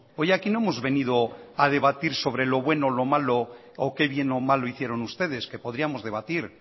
hoy aquí no hemos venido a debatir sobre lo bueno lo malo o qué bien o mal lo hicieron ustedes que podríamos debatir